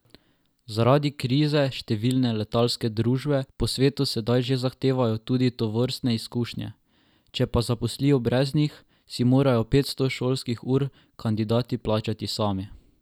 Zaradi krize številne letalske družbe po svetu sedaj že zahtevajo tudi tovrstne izkušnje, če pa zaposlijo brez njih, si morajo petsto šolskih ur kandidati plačati sami.